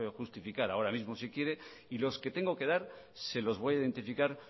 justificar ahora mismo si quiere y los que tengo que dar se los voy a identificar